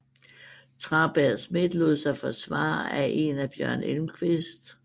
Traberg Smidt lod sig forsvare af en af Bjørn Elmquist